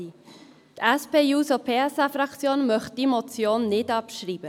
Die SP-JUSO-PSA-Fraktion möchte diese Motion nicht abschreiben.